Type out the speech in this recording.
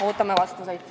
Ootame vastuseid.